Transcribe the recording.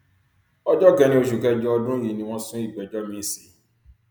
ọjọ kẹrin oṣù kẹjọ ọdún yìí ni wọn sún ìgbẹjọ miín sí